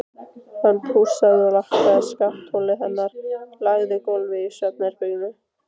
Hann pússaði og lakkaði skattholið hennar, lagaði gólfið í svefnherberginu.